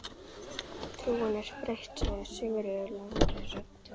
Trúin er breytt, sagði Sigurður lágri röddu.